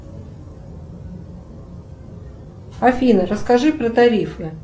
афина расскажи про тарифы